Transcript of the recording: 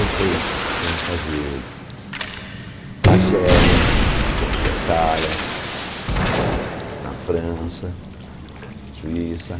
Aí foi fomos fazer Argélia, tocamos na Itália, na França, Suíça.